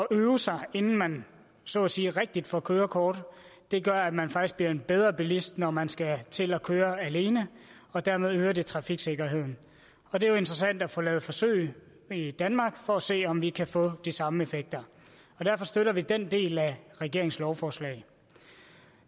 øve sig inden man så at sige rigtigt får kørekort gør at man faktisk bliver en bedre bilist når man skal til at køre alene dermed øger det trafiksikkerheden og det er jo interessant at få lavet forsøg i danmark for at se om vi kan få de samme effekter derfor støtter vi den del af regeringens lovforslag